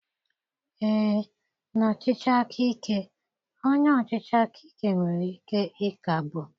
Ee, na ọchịchị aka ike, onye ọchịchị aka ike nwere ike ịkagbu